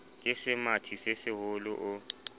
ke semathi se seholo o